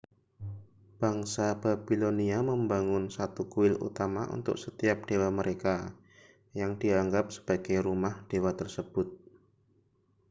bangsa babilonia membangun satu kuil utama untuk setiap dewa mereka yang dianggap sebagai rumah dewa tersebut